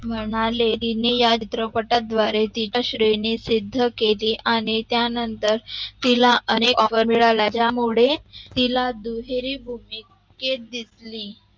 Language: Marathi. म्हणाले तिने या चित्रपटा द्वारे तिचा श्रेनीचे धके दे याने त्या नंतर तिला अनेक offer मिळाले त्या मुळे दुहेरी भूमिकेत दिसली